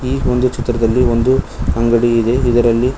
ಈ ಒಂದು ಚಿತ್ರದಲ್ಲಿ ಒಂದು ಅಂಗಡಿ ಇದೆ ಇದರಲ್ಲಿ--